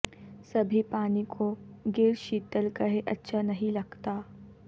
سبھی پانی کو گر شیتل کہے اچھا نہیں لگتا